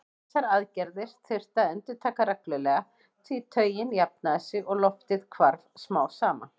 Þessar aðgerðir þurfti að endurtaka reglulega því taugin jafnaði sig og loftið hvarf smám saman.